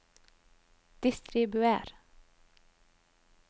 distribuer